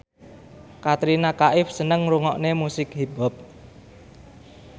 Katrina Kaif seneng ngrungokne musik hip hop